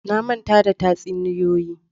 Na manta da tatsuniyoyi.